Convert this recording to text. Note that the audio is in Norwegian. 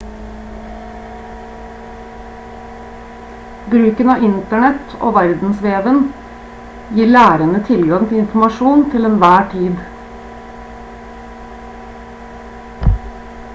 bruken av internett og verdensveven gir lærende tilgang til informasjon til enhver tid